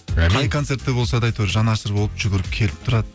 қай концертте болса да әйтеуір жанашыр болып жүгіріп келіп тұрады